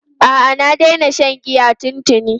A'a, na daina shan giya tuntuni.